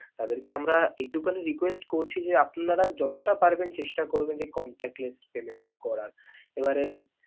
তাদেরকে আমরা এটুকুন request করছি যে আপনারা যতটা পারবেন চেষ্টা করবেন যে contactless payment টা করার. এবারে.